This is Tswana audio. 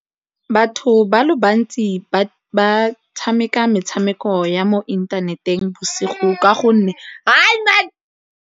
Batho ba le bantsi ba tshameka metshameko ya mo inthaneteng bosigo ka gonne .